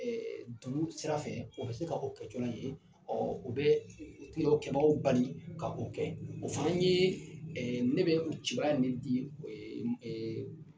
Ɛɛ dugu sira fɛ o bɛ se kɛcola ye ɔ o bɛ kɛbaaw bali ka o kɛ o fana ye ne bɛ kibaruya min di ɛ ɛ